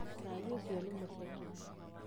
Cai ũciũ nĩ mũceke